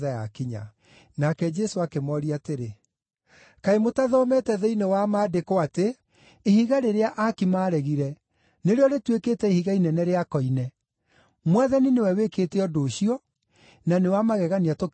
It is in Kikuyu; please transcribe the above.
Nake Jesũ akĩmooria atĩrĩ, “Kaĩ mũtathomete thĩinĩ wa Maandĩko atĩ: “ ‘Ihiga rĩrĩa aaki maaregire nĩrĩo rĩtuĩkĩte ihiga inene rĩa koine; Mwathani nĩ we wĩkĩte ũndũ ũcio, na nĩ wa magegania tũkĩwona’?